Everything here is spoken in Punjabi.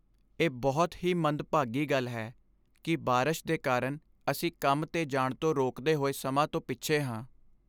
ਇਹ ਬਹੁਤ ਹੀ ਮੰਦਭਾਗੀ ਗੱਲ ਹੈ ਕਿ ਬਾਰਸ਼ ਦੇ ਕਾਰਨ ਅਸੀਂ ਕੰਮ 'ਤੇ ਜਾਣ ਤੋਂ ਰੋਕਦੇ ਹੋਏ ਸਮਾਂ ਤੋਂ ਪਿੱਛੇ ਹਾਂ।